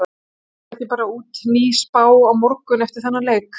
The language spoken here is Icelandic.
Kemur ekki bara út ný spá á morgun eftir þennan leik?